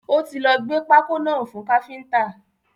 Ó ti lọ gbé pákó náà fún káfíntà.